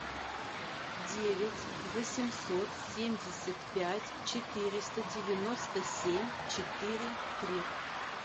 девять восемьсот семьдесят пять четыреста девяносто семь четыре три